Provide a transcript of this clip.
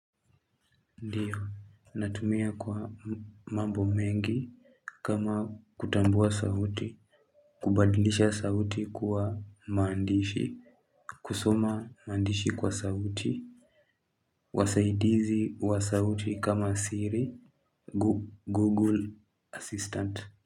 Ndiyo natumia kwa mambo mengi kama kutambua sauti kubadlisha sauti kuwa maandishi. Kusoma maandishi kwa sauti. Wasaidizi wa sauti kama Siri, Google Assistant.